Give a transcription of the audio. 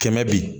Kɛmɛ bi